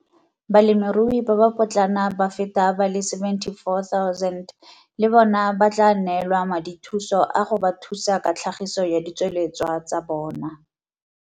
Balemirui ba ba potlana ba feta ba le 74 000 le bona ba tla neelwa madithuso a go ba thusa ka tlhagiso ya ditsweletswa tsa bona.